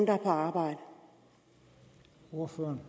at høre ordføreren